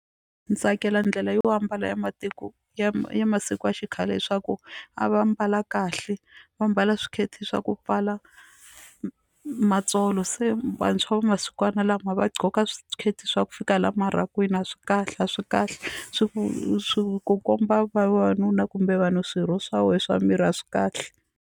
Ndzi tsakela ndlela yo ambala ya matiko ya ya masiku ya xikhale leswaku a va mbala kahle va mbala swiketi swa ku pfala matsolo se vantshwa va masikwana lama va gqoka swiketi swa ku fika laha marhakwini a swi kahle a swi kahle swi swi ku komba vavanuna kumbe vanhu swirho swa wena swa miri a swi kahle.